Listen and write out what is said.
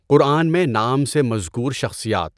قرآن میں نام سے مذکور شخصیات